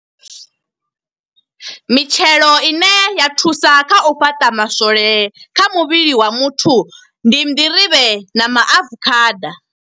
Mitshelo ine ya thusa kha u fhaṱa maswole kha muvhili wa muthu, ndi nḓirivhe na maafukhada.